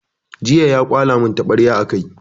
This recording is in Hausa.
Jiya ya kwala mun taɓarya a kai